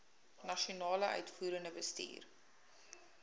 nasionale uitvoerende bestuur